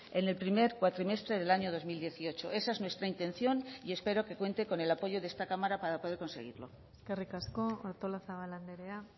en el primer cuatrimestre del año dos mil dieciocho esa es nuestra intención y espero que cuente con el apoyo de esta cámara para poder conseguirlo eskerrik asko artolazabal andrea